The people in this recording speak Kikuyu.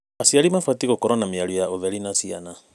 Aciari mabatiĩ gũkorwo na mĩario ya ũtheri na ciana.